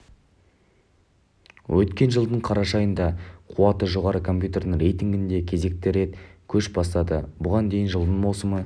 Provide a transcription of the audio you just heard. өткен жылдың қараша айында қуаты жоғары компьютердің рейтингінде кезекті рет көш бастады бұған дейін жылдың маусым